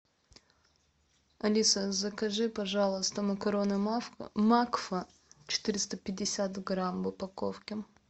алиса закажи пожалуйста макароны макфа четыреста пятьдесят грамм в упаковке